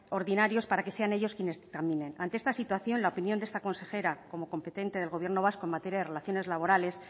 ordinarios para que sean ellos quienes dictaminen ante esta situación la opinión de esta consejera como competente del gobierno vasco en materia de relaciones laborales